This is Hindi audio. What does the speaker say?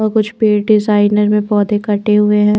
वो कुछ पेड़ डिजाइनर मे पौधे कटे हुए है।